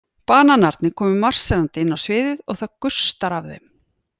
Bananarnir koma marserndi inn á sviðið og það gustar af þeim.